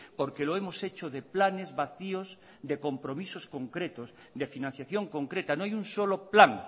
porque lo hemos hecho de planes vacíos de compromisos concretos de financiación concreta no hay un solo plan